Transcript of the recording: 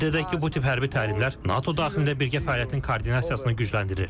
Qeyd edək ki, bu tip hərbi təlimlər NATO daxilində birgə fəaliyyətin koordinasiyasını gücləndirir.